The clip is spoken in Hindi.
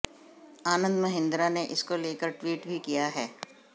आनंद महिंद्रा ने इसको लेकर ट्वीट भी किया है